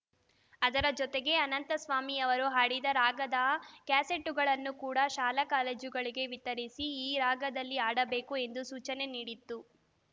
ಅದರ ಜೊತೆಗೇ ಅನಂತಸ್ವಾಮಿಯವರು ಹಾಡಿದ ರಾಗದ ಕ್ಯಾಸೆಟ್ಟುಗಳನ್ನು ಕೂಡ ಶಾಲಾ ಕಾಲೇಜುಗಳಿಗೆ ವಿತರಿಸಿ ಈ ರಾಗದಲ್ಲಿ ಹಾಡಬೇಕು ಎಂದು ಸೂಚನೆ ನೀಡಿತ್ತು